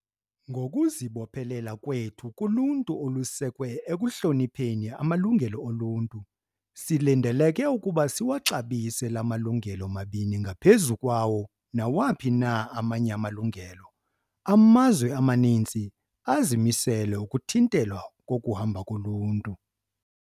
"Ngokuzibophelela kwethu kuluntu olusekwe ekuhlonipheni amalungelo oluntu, silindeleke ukuba siwaxabise la malungelo mabini ngaphezu kwawo nawaphi na amanye amalungelo." Amazwe amaninzi amisele ukuthintelwa kokuhamba koluntu.